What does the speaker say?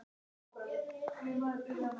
Þín, Bjarki, Nanna og Björn.